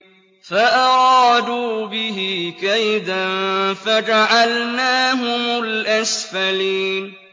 فَأَرَادُوا بِهِ كَيْدًا فَجَعَلْنَاهُمُ الْأَسْفَلِينَ